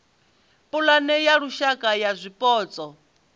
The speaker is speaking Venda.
pulane ya lushaka ya zwipotso